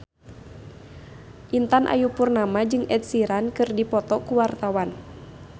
Intan Ayu Purnama jeung Ed Sheeran keur dipoto ku wartawan